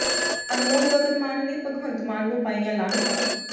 ਅਨਮੋਲ ਗਗਨ ਮਾਨ ਨੇ ਭਗਵੰਤ ਮਾਨ ਨੂੰ ਪਾਈਆਂ ਲਾਹਨਤਾਂ